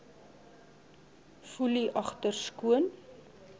foelie agter skoon